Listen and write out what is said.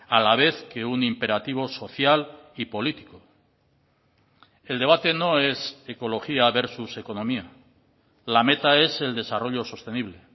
a la vez que un imperativo social y político el debate no es ecología versus economía la meta es el desarrollo sostenible